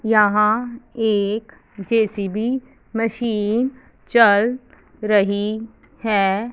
यहां एक JCB machine चल रही है।